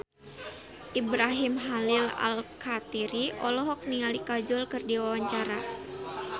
Ibrahim Khalil Alkatiri olohok ningali Kajol keur diwawancara